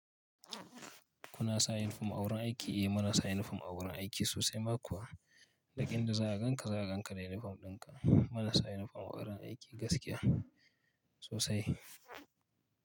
Kuna sa yinifom a wurin aiki? Eh, muna sa yinifom a wurin aiki sosai ma kuwa. Duk inda za a ganka, za a ganka da yinifom dinka. Muna sa yinifom a wurin aiki gaskiya sosai.